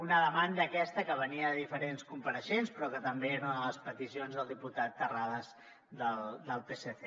una demanda aquesta que venia de diferents compareixents però que també era una de les peticions del diputat terrades del psc